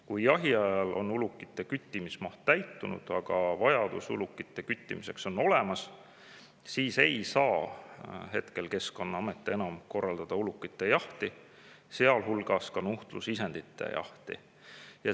Kui jahiajal on ulukite küttimise maht täitunud, aga vajadus ulukite küttimiseks on olemas, siis praegu Keskkonnaamet ulukite jahti, sealhulgas nuhtlusisendite jahti enam korraldada ei saa.